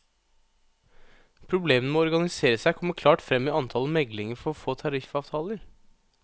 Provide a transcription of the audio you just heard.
Problemene med å organisere seg kommer klart frem i antallet meglinger for å få tariffavtaler.